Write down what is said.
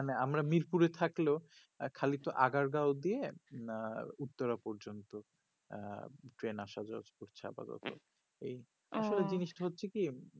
মানে আমার মিরপুর থাকলেও খালি তো আগের গা অব্দি আঃ উত্তরা পর্যন্ত আঃ ট্রেন আসা যাওয়া করছে আপাতত ওহ আসলে জিনিস টা হচ্ছে কি